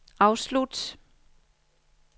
afslut